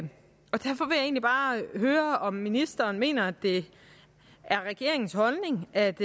egentlig bare høre om ministeren mener at det er regeringens holdning at